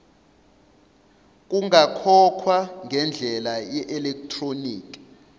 kungakhokhwa ngendlela yeelektroniki